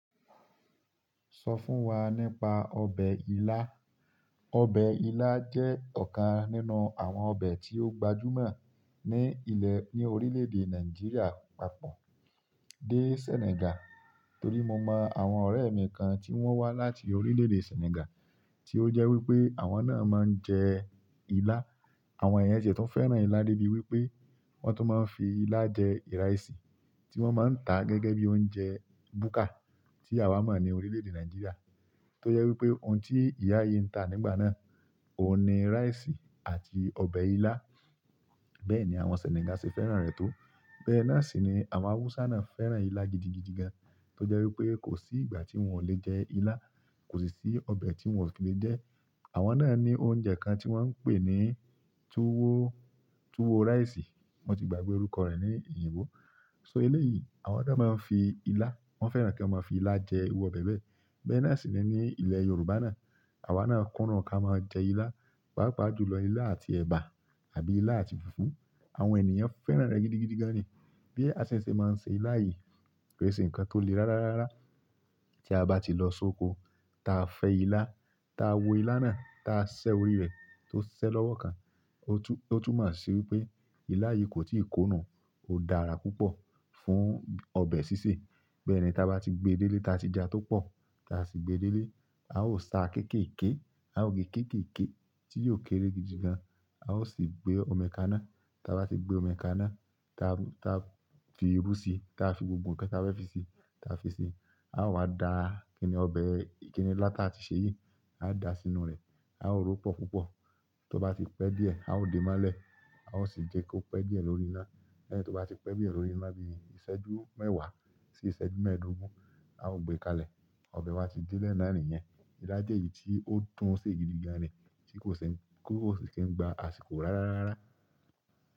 Sọ fún wa nípa ọbẹ̀ ilá. Ọbẹ̀ ilá jẹ́ ọ̀kan nínú àwọn ọbẹ̀ tí ó gbajúmọ̀ ní ilẹ̀ẹ, ní orílẹ̀-èdè Nàìjíríà papọ̀ dé Senegal. Torí mo mọ àwọn ọ̀rẹ́ mi kan tí wọ́n wá láti orílẹ̀-èdè Senegal, tí ó jẹ́ wípé àwọn náà máa ń jẹ ilá. Àwọn ènìyàn tiẹ̀ tún fẹ́ràn ilá débi wípé wọ́n tún máa ń fi ilá jẹ ìrẹsì, tí wọ́n máa ń tà gẹ́gẹ́ bí oúnjẹ búkà tí àwa mọ̀ ní orílẹ̀-èdè Nàìjíríà. Tó jẹ́ wípé ohun tí ìyá yìí ń tà nígbà náà, òun ni rice àti ọbẹ̀ ilá. Bẹ́ẹ̀ ni àwọn Senegal ṣe fẹ́ran an rẹ̀ tó. Bẹ́ẹ̀ náà sì ni àwọn Hausa náà fẹ́ràn ilá gidigidi gan-an, tó jẹ́ wípé kò sí ìgbà tí wọ́n ò lè jẹ ilá, kò sì sí ọbẹ̀ tí wọn ò fi le jẹ. Àwọn náà ní oúnjẹ kan tí wọ́n ń pè ní tuwo, Tuwo rice. Wọ́n ti gbàgbé orúkọ rẹ̀ ní ìyìnbo. So eléyìí, àwọn náà máa ń fi ilá, wọ́n fẹ́ràn kán máa fi ilá jẹ irú b ọbẹ̀ bẹ́ẹ̀. Bẹ́ẹ̀ náà sì ni ní ilẹ̀ Yorùbá náà. Àwa náà kúndùn hunká máa jẹ ilá, pàápàá jùlọ ilá àti ẹ̀bà àbí ilá àti fùfú. Àwọn ènìyàn fẹ́ràn rẹ̀ gidigidi gan-an ni. Bí a ṣe máa ń ṣe ilá yìí, kì í ṣe nǹkan tó le rárá rárá. Tí a bá ti lọ sóko, táa fẹ́ ilá, táa wo ilá náà, táa ṣẹ́ oríi rẹ̀ tó ṣẹ́ lọ́wọ́ kan. Ó tún, ó tún mọ̀ sí wípé ilá yìí kò tí ì kó nùu, ó dára púpọ̀ fún ọbẹ̀ sísè. Bẹ́ẹ̀ ni ta bá ti gbe délé, ta ti ja tó pọ̀, ta sì gbe délé, a ó sáa kéékèèké, a ó ge kéékèèké tí yóò kéré gidigan, a ó sì gbé omi ka ná. Táa bá ti gbé omi ka ná, táa, ta fi irú sí i, táa fi gbogbo nǹkan tí a fẹ́ fi sí i, táa fi sí i. A ó wá da kìnì ọbẹ̀ ìkíni ilá tí a ti ṣe yíi, a ó dàá sínúu rẹ̀. A ó ró pọ̀ púpọ̀. Tó bá ti pẹ́ díẹ̀, a ó dè e mọ́lẹ̀, a ó sì jẹ́ kó pẹ́ díẹ̀ lórí iná. Lẹ́ẹ̀ tí ó bá ti pẹ́ bí i lórí iná bí i ìṣẹ́jú mẹ́wàá sí ìṣẹ́jú mẹ́ẹ̀ẹ́dógún, a ó gbe ká lẹ̀. Ọbẹ̀ wa ti délẹ̀ náà nìyẹn. Ilá jẹ́ èyí tí ó dùn hún sé gidigan ni, tí kò ṣe, kò sì kí ń gba àsìkò rárá rárá.